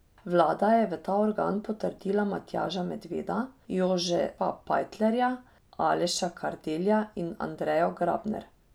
Vlada je v ta organ potrdila Matjaža Medveda, Jožefa Pajtlerja, Aleša Kardelja in Andrejo Grabner.